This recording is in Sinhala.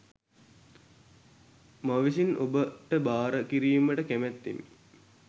මවිසින් ඔබ ට භාර කිරීමට කැමැත්තෙමි